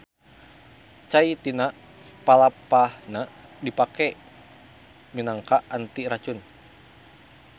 Cai tina palapahna dipake minangka anti racun.